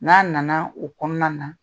N'a nana o kɔnɔna na